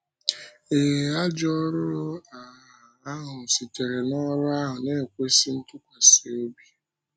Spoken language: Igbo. Ée, “ajọ ọ́rụ” um ahụ sitere n’ọ́rụ ahụ na-ekwésị ntụkwasị obi.